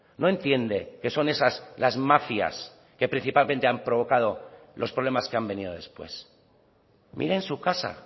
no entiende que son esas las mafias que principalmente han provocado los problemas que han venido después mire en su casa